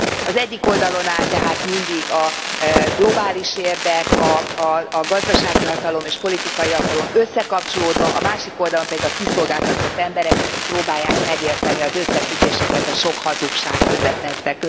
Az egyik oldalon áll tehát mindig a globális érdek, a gazdasági hatalom és politikai hatalom összekapcsolódva, a másik oldalon pedig a kiszolgáltatott emberek, akik próbálják megérteni az összefüggéseket a sok hazugság közepette.